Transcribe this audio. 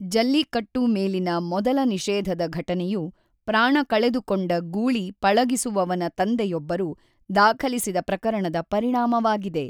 ಜಲ್ಲಿಕಟ್ಟು ಮೇಲಿನ ಮೊದಲ ನಿಷೇಧದ ಘಟನೆಯು ಪ್ರಾಣ ಕಳೆದುಕೊಂಡ ಗೂಳಿ ಪಳಗಿಸುವವನ ತಂದೆಯೊಬ್ಬರು ದಾಖಲಿಸಿದ ಪ್ರಕರಣದ ಪರಿಣಾಮವಾಗಿದೆ.